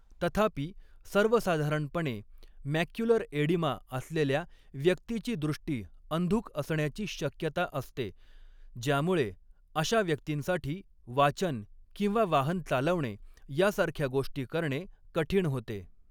तथापि, सर्वसाधारणपणे, 'macular oedema' असलेल्या व्यक्तीची दृष्टी अंधुक असण्याची शक्यता असते, ज्यामुळे अशा व्यक्तींसाठी वाचन किंवा वाहन चालवणे यासारख्या गोष्टी करणे कठीण होते.